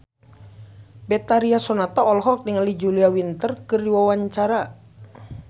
Betharia Sonata olohok ningali Julia Winter keur diwawancara